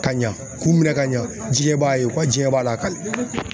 Ka ɲa k'u minɛ ka ɲa diɲɛ b'a ye, u ka jɛn b'a lakali.